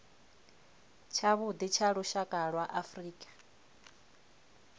tshavhuḓi tsha lushaka lwa afrika